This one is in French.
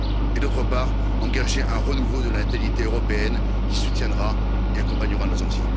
Et d'autre part, engager un renouveau de la natalité européenne, qui soutiendra et accompagnera nos anciens.